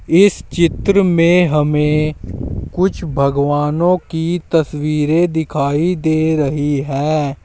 इस चित्र में हमें कुछ भगवानों की तस्वीरें दिखाई दे रही है।